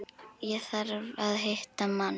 Ég þarf að hitta mann.